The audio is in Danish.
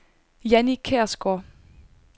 Jannie Kjærgaard